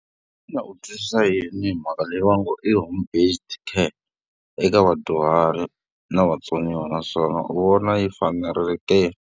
Xana u twisisa yini hi mhaka leyi va nge i home based care eka vadyuhari na vatsoniwa naswona u vona yi fanerile ke?